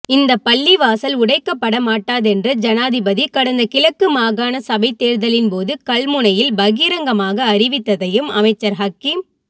இந்த பள்ளிவாசல் உடைக்கப்படமாட்டாதென்று ஜனாதிபதி கடந்த கிழக்கு மாகாண சபைத் தேர்தலின் போது கல்முனையில் பகிரங்கமாக அறிவித்ததையும் அமைச்சர் ஹக்கீம்